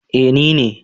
Eh ni ne